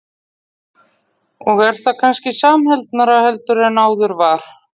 Og er það kannski samheldnara heldur en áður var?